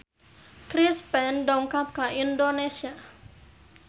Chris Pane dongkap ka Indonesia